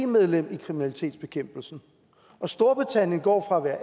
medlemmer i kriminalitetsbekæmpelsen og storbritannien går fra at være